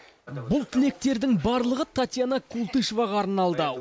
бұл тілектердің барлығы татьяна култышеваға арналды